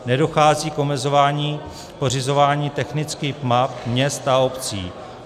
Nedochází k omezování pořizování technických map měst a obcí.